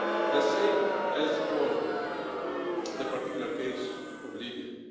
The same goes for the particular case of Libya.